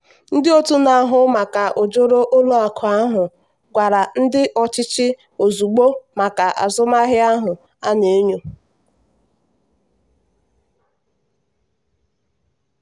ndị otu na-ahụ maka ojoro ụlọ akụ ahụ gwara ndị ọchịchị ozugbo maka azụmahịa ahụ a na-enyo.